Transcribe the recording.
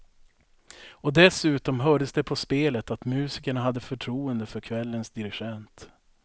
Och dessutom hördes det på spelet att musikerna hade förtroende för kvällens dirigent.